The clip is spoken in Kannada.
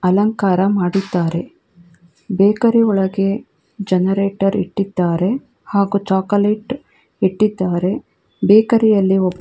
ಅಲಂಕಾರ ಮಾಡಿದ್ದಾರೆ ಬೇಕರಿ ಒಳಗೆ ಜನರೇಟರ್ ಇಟ್ಟಿದ್ದಾರೆ ಹಾಗು ಚಾಕೊಲೇಟ್ ಇಟ್ಟಿದ್ದಾರೆ ಬೇಕರಿಯಲ್ಲಿ ಒಬ್ಬ --